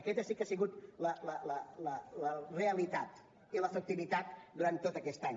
aquesta sí que ha sigut la realitat i l’efectivitat durant tot aquest any